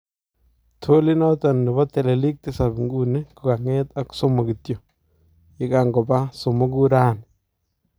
Tool inoton nebo teleliik tisap nguni kokanget ak somook kityo ye kankobaa somokuu raanii